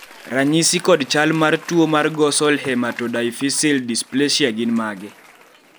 ranyisi kod chal mar tuo mar Ghosal hematodiaphyseal dysplasia gin mage?